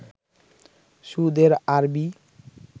সুদ এর আরবি